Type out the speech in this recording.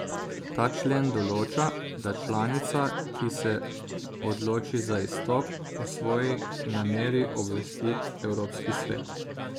Ta člen določa, da članica, ki se odloči za izstop, o svoji nameri obvesti Evropski svet.